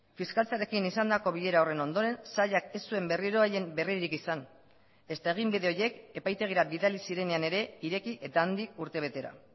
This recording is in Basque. fiskaltzarekin izandako bilera horren ondoren sailak ez zuen berriro haien berririk izan ezta eginbide horiek epaitegira bidali zirenean ere ireki eta handik urtebetera